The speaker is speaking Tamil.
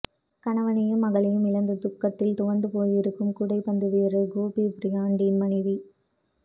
கணவனையும் மகளையும் இழந்து துக்கத்தில் துவண்டு போயிருக்கும் கூடைப்பந்து வீரர் கோபி பிராயன்டின் மனைவி